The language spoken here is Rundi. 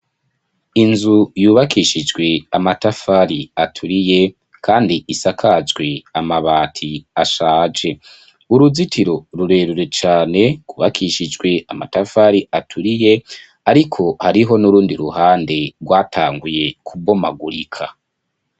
Inzu yubakishijwe amatafari aturiye, kandi isakajwe amabati ashaje, uruzitiro rurerure cane gwubakishijwe amatafari aturiye ariko hariho n'urundi ruhande gwatanguye kubomagurika